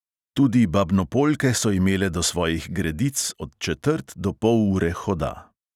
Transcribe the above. Tudi babnopoljke so imele do svojih "gredic" od četrt do pol ure hoda.